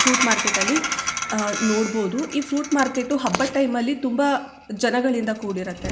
Fruit market ಅಲ್ಲಿ ah ನೋಡಬಹುದು ಈ ಫ್ರೂಟ್ ಮಾರ್ಕೆಟು ಹಬ್ಬದ್ ಟೈಮ್ ಅಲ್ಲಿ ತುಂಬಾ ಜನಗಳಿಂದ ಕೂಡಿರುತ್ತೆ.